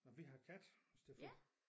Nå vi har kat i stedet for